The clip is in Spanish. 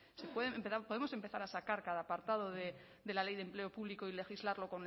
podemos empezar a sacar cada apartado de la ley de empleo público y legislarlo